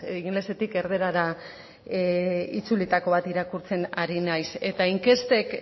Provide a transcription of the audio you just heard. ingelesetik erdarara itzulitako bat irakurtzen ari naiz eta inkestek